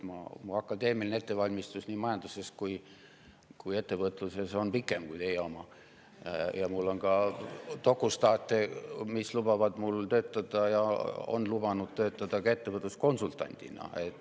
Minu akadeemiline ettevalmistus nii majanduses kui ka ettevõtluses on olnud pikem kui teie oma ja mul on dokustaate, mis lubavad ja on lubanud mul töötada ka ettevõtluskonsultandina.